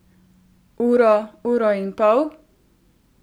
Uro, uro in pol?